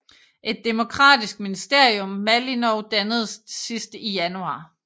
Et demokratisk ministerium Malinov dannedes sidst i januar